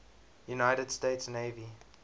united states navy